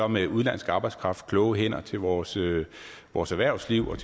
med udenlandsk arbejdskraft kloge hænder til vores til vores erhvervsliv og